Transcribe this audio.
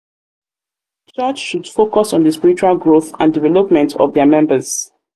church should focus um on di spiritual growth and development of development of dia members.